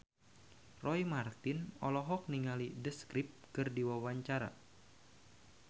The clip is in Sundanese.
Roy Marten olohok ningali The Script keur diwawancara